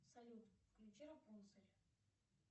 салют включи рапунцель